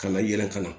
Ka na yɛlɛ ka na